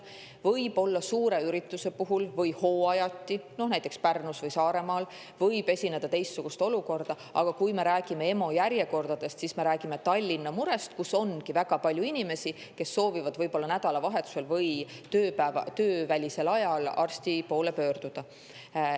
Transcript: Võib-olla suure ürituse puhul või hooajati, näiteks Pärnus või Saaremaal, võib esineda teistsugust olukorda, aga kui me räägime EMO järjekordadest, siis me räägime Tallinna murest, kus ongi väga palju inimesi, kes soovivad nädalavahetusel või töövälisel ajal arsti poole pöörduda.